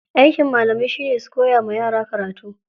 Aikin malamai shine su koya wa yara karatu.